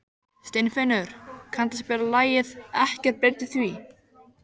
Steinfinnur, kanntu að spila lagið „Ekkert breytir því“?